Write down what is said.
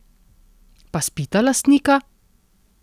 Pa spita lastnika?